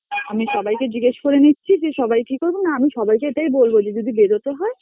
আমি সবাই কে জিজ্ঞেস করে নিচ্ছি যে সবাই কি করবে, না আমি সবাই কে এটাই বলবো যে যদি বেরতে হয়